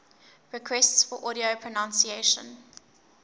requests for audio pronunciation